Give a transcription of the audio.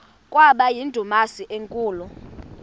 kwaba yindumasi enkulu